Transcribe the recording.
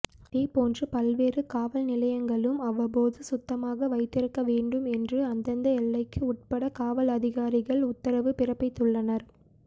இதேபோன்று பல்வேறு காவல்நிலையங்களும் அவ்வப்போது சுத்தமாக வைத்திருக்க வேண்டும் என்று அந்தெந்த எல்லைக்கு உட்பட்ட காவல் அதிகாரிகள் உத்தரவு பிறப்பித்துள்ளனர்